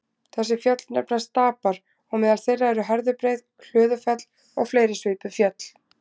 Þessi fjöll nefnast stapar og meðal þeirra eru Herðubreið, Hlöðufell og fleiri svipuð fjöll.